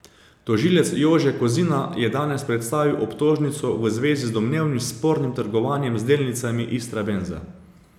Tožilec Jože Kozina je danes predstavil obtožnico v zvezi z domnevno spornim trgovanjem z delnicami Istrabenza.